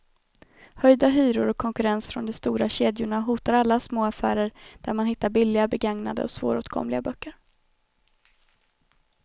Höjda hyror och konkurrens från de stora kedjorna hotar alla små affärer där man hittar billiga, begagnade och svåråtkomliga böcker.